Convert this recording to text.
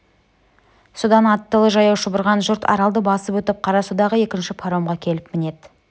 содан аттылы-жаяу шұбырған жұрт аралды басып өтіп қарасудағы екінші паромға келіп мінеді